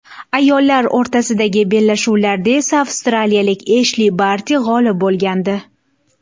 Ayollar o‘rtasidagi bellashuvlarda esa avstraliyalik Eshli Barti g‘olib bo‘lgandi.